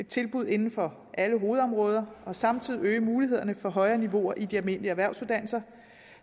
tilbud inden for alle hovedområder og samtidig øge mulighederne for højere niveauer i de almindelige erhvervsuddannelser